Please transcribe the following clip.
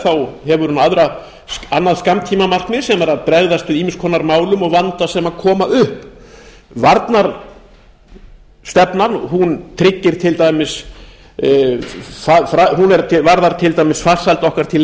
lagi hefur hún annað skammtímamarkmið sem er að bregðast við ýmiss konar málum og vanda sem kemur upp varnarstefnan varðar til dæmis farsæld okkar til